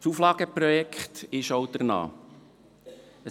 Das Auflageprojekt sieht auch dementsprechend aus: